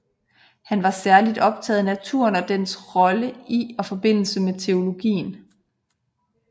Han var særligt optaget af naturen og dens rolle i og forbindelse med teologien